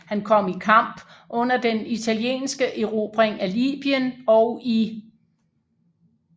Han kom i kamp under den italienske erobring af Libyen og i 1